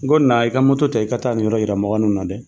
N go na i ka ta i ka taa nin yɔrɔ yira mɔgɔ nunun na dɛ.